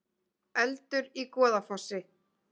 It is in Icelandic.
Eldur í Goðafossi